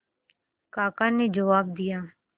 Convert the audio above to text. काका ने जवाब दिया